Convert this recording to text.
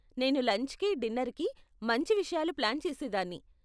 నేను లంచ్కి, డిన్నర్కి మంచి విషయాలు ప్లాన్ చేసేదాన్ని.